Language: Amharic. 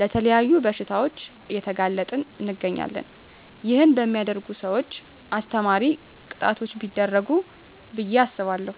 ለተለያዩ በሽታዎች እየተጋለጠን እንገኛለን ይህን በሚያደርጉ ሰውች አስተማሪ ቅጣቶች ቢደረጉ ብየ አስባለሁ።